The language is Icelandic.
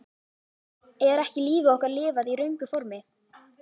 Er ekki lífi okkar lifað í röngu formi?